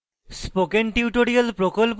spoken tutorial প্রকল্প the